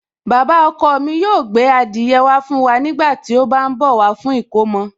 Baba ọkọ mi yóò gbé adìyẹ wá fún wa nígbà tí ó bá ń bọ̀ wá fún ìkomọ̀